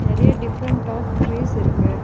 நெறைய different of trees இருக்கு.